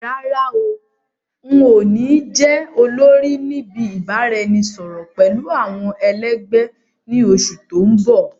Rárá o, ǹ ó ní jẹ́ olórí níbi ìbáraẹnisọọ̀rọ̀ pẹ̀lú àwọn ẹ lẹgbẹ̀ ni oṣù tòun bọ̀.